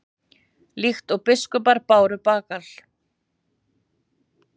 Líkt og biskupar báru bagal?